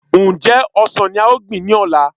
Ǹjẹ́ ọsàn ní a ò gbìn ní ọ̀la